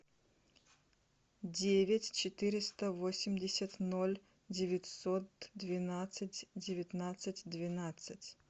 девять четыреста восемьдесят ноль девятьсот двенадцать девятнадцать двенадцать